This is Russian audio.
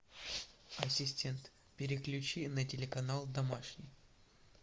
ассистент переключи на телеканал домашний